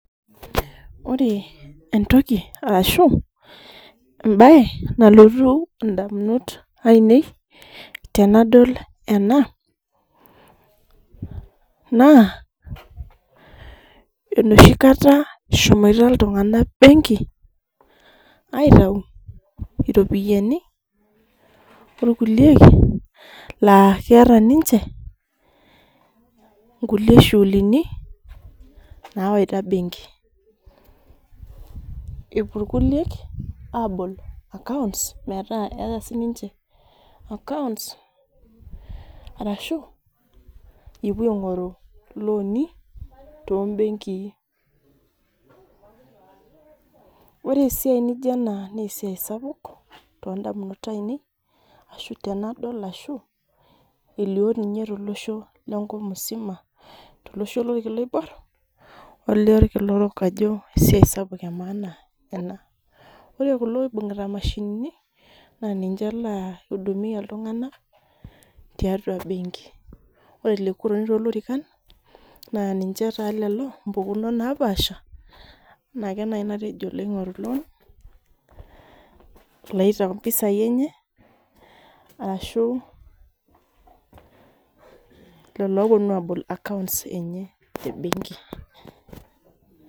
ore entoki ashu embae nalotu indamunot ainei tenadol ena na enoshi kata, eshomoito iltungana benki, aitayu iropiani olkulie la keeta ninche inkulie shughulini nawaita benki, epuo ilkulie abol accounts meeta eta sininche accounts ashu epuo aingoru iloni tonbenki, ore esiai naijio ena na esiai sapuk tondamunot ainei, ashu tenadol ashu elio ninye, tolosho lenkop msima tolosho lonkila oboir olokila orok, ajo esiai sapuk emaana ena, ore kulo oibungita mashinini na ninche oidumia iltunganak tiatua benki, ore kuldo otoni tolorikan na ninche taa lelo mpukunot napasha, in ake naji natejo loingoru loan iloitayu impisai enye ashu lelo loponu abol account enye ebenki,